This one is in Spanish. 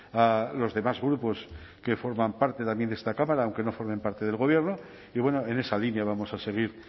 a los demás grupos que forman parte también de esta cámara aunque no formen parte del gobierno y bueno en esa línea vamos a seguir